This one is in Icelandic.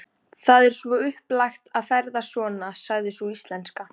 Það er svo upplagt að ferðast svona, sagði sú íslenska.